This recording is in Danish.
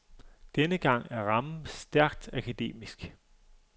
Denne gang er rammen stærkt akademisk.